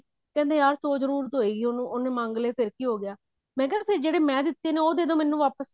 ਕਹਿੰਦੇ ਯਾਰ ਸੋ ਜਰੂਰਤ ਹੋਏਗੀ ਉਹਨੂੰ ਉਹਨੇ ਮੰਗ ਲੈ ਫ਼ੇਰ ਕੀ ਹੋਗਿਆ ਮੈਂ ਕਿਹਾ ਫ਼ੇਰ ਜਿਹੜੇ ਮੈਂ ਦਿੱਤੇ ਨੇ ਉਹ ਦੇਦੋ ਮੈਨੂੰ ਵਾਪਿਸ